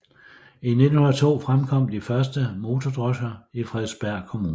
I 1902 fremkom de første motordrosker i Frederiksberg Kommune